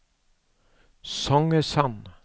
Songesand